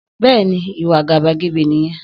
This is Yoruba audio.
Bẹ́ẹ̀ni, ìwà àgàbàgebè nìyẹn